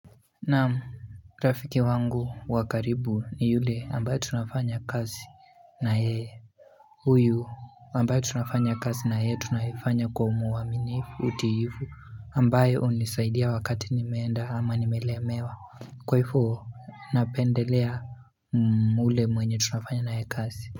Naam rafiki wangu wa karibu ni yule ambaye tunafanya kazi na yeye huyu ambaye tunafanya kazi na yeye tunaifanya kwa uaminifu utiifu ambayo hunisaidia wakati nimeenda ama nimelemewa. Kwa hivo napendelea ule mwenye tunafanya na yeye kazi.